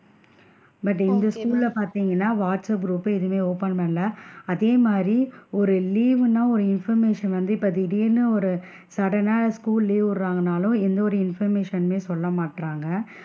But இந்த school ல பாத்திங்கனா வாட்ஸ் ஆப் group எதுமே open பண்ணல அதே மாறி ஒரு leave னா ஒரு information வந்து இப்ப திடீர்ன்னு ஒரு sudden னா school leave விடுராங்கனாலும் எந்த ஒரு information மெ சொல்ல மாட்டேன்குறாங்க,